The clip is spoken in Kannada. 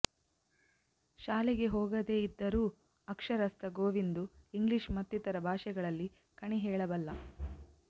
ಶಾಲೆಗೆ ಹೋಗದೆ ಇದ್ದರೂ ಅಕ್ಷರಸ್ಥ ಗೋವಿಂದು ಇಂಗ್ಲಿಷ್ ಮತ್ತಿತರೆ ಭಾಷೆಗಳಲ್ಲಿ ಕಣಿ ಹೇಳಬಲ್ಲ